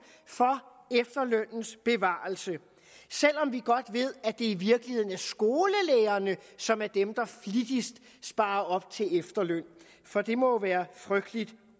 for efterlønnens bevarelse selv om vi godt ved at det i virkeligheden er skolelærerne som er dem der flittigst sparer op til efterløn for det må jo være frygtelig